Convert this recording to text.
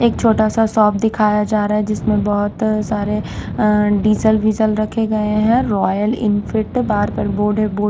एक छोटा सा शॉप दिखाया जा रहा हैं जिसमें बहुत सारे अ डीजल विजल रखे गए हैं रॉयल इनफिट बार पर बोर्ड हैं।